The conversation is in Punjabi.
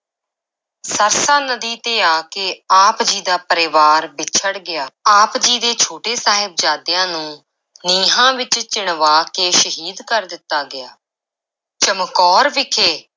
ਸਰਸਾ ਨਦੀ ਤੇ ਆ ਕੇ ਆਪ ਜੀ ਦਾ ਪਰਿਵਾਰ ਵਿੱਛੜ ਗਿਆ, ਆਪ ਜੀ ਦੇ ਛੋਟੇ ਸਾਹਿਬਜ਼ਾਦਿਆਂ ਨੂੰ ਨੀਹਾਂ ਵਿੱਚ ਚਿਣਵਾ ਕੇ ਸ਼ਹੀਦ ਕਰ ਦਿੱਤਾ ਗਿਆ, ਚਮਕੌਰ ਵਿਖੇ